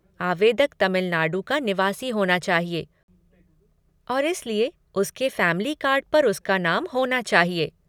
आवेदक तमिलनाडु का निवासी होना चाहिए और इसलिए उसके फ़ैमिली कार्ड पर उसके नाम होना चाहिए।